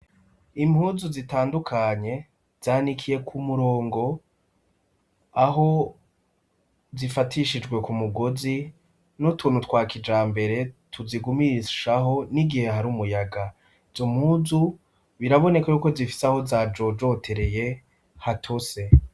Impuzu zitandukanye zanikiyeko umurongo aho zifatishijwe ku mugozi n'utuntu twa kija mbere tuzigumirishaho n'igihe hari umuyaga, jo muzu biraboneka yuko zifise aho zajojotereye hatose.